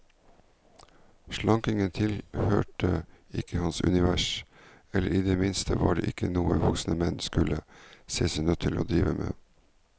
Slankingen tilhørte ikke hans univers, eller i det minste var det ikke noe voksne menn skulle se seg nødt til å drive med.